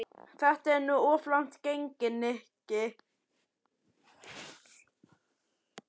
Þetta er nú of langt gengið, Nikki.